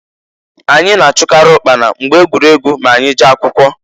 Anyị na-achụkarị ụkpana mgbe egwuregwu m'anyị jee akwụkọ.